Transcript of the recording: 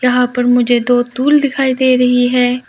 यहाँ पर मुझे दो टूल दिखाई दे रही है।